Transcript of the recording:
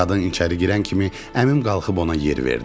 Qadın içəri girən kimi əmim qalxıb ona yer verdi.